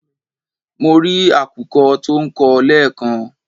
Mo rí àkùkọ tó ń kọ lẹ́ẹ̀kan